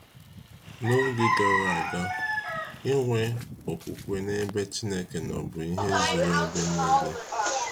N’oge gara aga aga, inwe okwukwe n’ebe Chineke nọ bụ ihe zuru ebe nile.